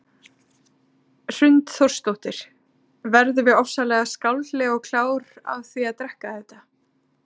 Hrund Þórsdóttir: Verðum við ofsalega skáldleg og klár af því að drekka þetta?